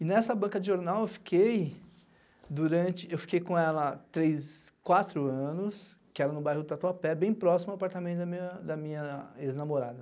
E nessa banca de jornal eu fiquei durante, eu fiquei com ela três, quatro anos, que era no bairro do Tatuapé, bem próximo ao apartamento da da minha ex-namorada.